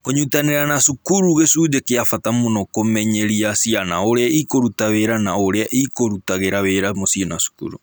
Kũnyitanĩra na cukuru gĩcunjĩ kĩa bata mũno kũmenyeria ciana ũrĩa ikũruta wĩra na ũrĩa ikũrutagĩra wĩra mũciĩ na cukuru.